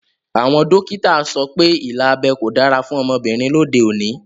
Àwọn dókítà so pé ilà abẹ́ kò dára fún ọmọbìnrin lóde òní